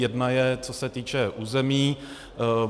Jedna je, co se týče území.